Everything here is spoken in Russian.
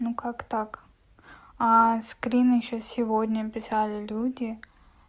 ну как так а скрин ещё сегодня писали люди